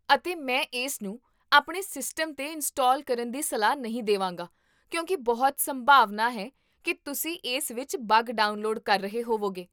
ਅਤੇ ਮੈਂ ਇਸ ਨੂੰ ਆਪਣੇ ਸਿਸਟਮ ਤੇ ਇੰਸਟਾਲ ਕਰਨ ਦੀ ਸਲਾਹ ਨਹੀਂ ਦੇਵਾਂਗਾ ਕਿਉਂਕਿ ਬਹੁਤ ਸੰਭਾਵਨਾ ਹੈ ਕੀ ਤੁਸੀਂ ਇਸ ਵਿੱਚ ਬੱਗ ਡਾਊਨਲੋਡ ਕਰ ਰਹੇ ਹੋਵੋਗੇ